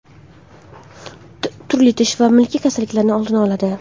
Turli tish va milk kasalliklarining oldini oladi.